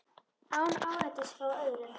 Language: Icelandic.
Án áreitis frá öðrum.